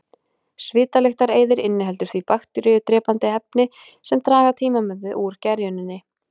Svitalyktareyðir inniheldur því bakteríudrepandi efni sem draga tímabundið úr gerjuninni.